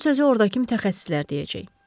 Son sözü ordakı mütəxəssislər deyəcək.